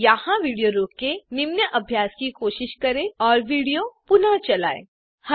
यहाँ विडियो रोकें निम्न अभ्यास की कोशिश करें और विडियो पुनः चलायें